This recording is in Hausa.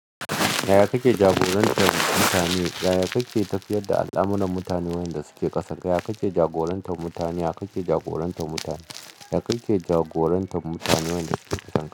Ya kake jagorantar mutane? Ya kake tafiyar da al'amuran mutanen wanda suke ƙasan ka? Ya kake jagorantar mutane? Ya kake jagorantar mutane? Ya kake jagorantar mutanen da suke ƙasan ka?